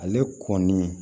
Ale kɔni